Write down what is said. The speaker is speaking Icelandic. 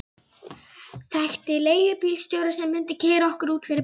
Ertu ekki sofnaður? hvíslaði hann á móti.